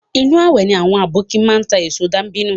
Inu awẹ ni àwọn aboki máa ń ta èso dàbínù